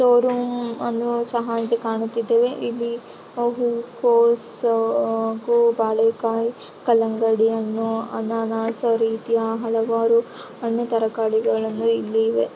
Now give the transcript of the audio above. Store room ತರ ಕಾಣಿಸ್ತಾ ಇದೆ ಇದ್ರಲ್ಲಿ ಕೋಸು ಬಾಳೆಕಾಯಿ ಕಲ್ಲಂಗಡಿ ಹಣ್ಣು ಅನಾನಸ್ ಈ ರೀತಿಯ ಹಲವಾರು ಹಣ್ಣು ತರಕಾರಿಗಳು ಇಲ್ಲಿ ಇವೆ.